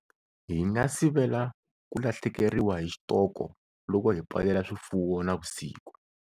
Hi nga sivela ku lahlekeriwa hi xitoko loko hi pfalela swifuwo nivusiku.